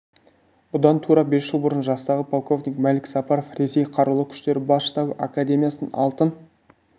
бұдан тура бес жыл бұрын жастағы полковник мәлік сапаров ресей қарулы күштері бас штабы академиясын алтын